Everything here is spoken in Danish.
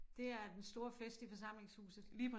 Det er den store fest i forsamlingshuset